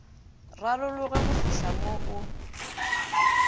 rarologe go fihla mo o